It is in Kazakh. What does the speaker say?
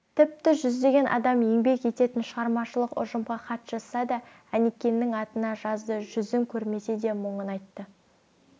тіпті жүздеген адам еңбек ететін шығармашылық ұжымға хат жазса да әнекеңнің атына жазды жүзін көрмесе де мұңын айтты